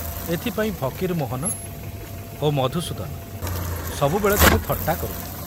ଏଥିପାଇଁ ଫକୀରମୋହନ ଓ ମଧୁସୂଦନ ସବୁବେଳେ ତାକୁ ଥଟ୍ଟା କରୁଥିଲେ।